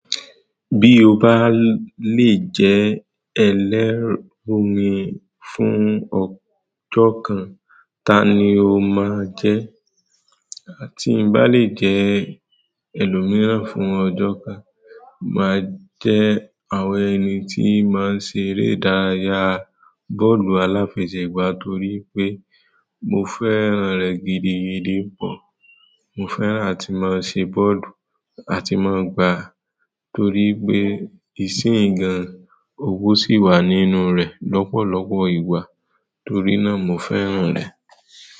Bí o bá lè jẹ́ ẹlẹ́rùrin fún ọjọ́ kan, ta ni o máa jẹ́? Tí ń bá lè jẹ́ ẹlòmíràn fún ọjọ́ kan, màá jẹ́ àwọn ẹni tí máa ń ṣe eré ìdárayá bọ́ọ̀lù aláfẹsẹ̀gbá torí pé mo fẹ́ràn rẹ̀ gidigidi pọ̀. Mo fẹ́ràn tí mo ń ṣe bọ́ọ̀lù àti tí mo ń gbá torí pé ìsìǹ gàn owó sì wà nínú rẹ̀ lọ́pọ̀lọpọ̀ ìgbà torí náà mo fẹ́ràn rẹ̀.